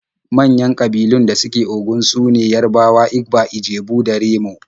Manyan ƙabilun da suke Ogun su ne Yarabawa, Igba, Ijebu da Remo.